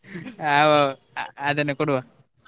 ಆವ್ ಆವ್ ಅದನ್ನೇ ಕೊಡುವ.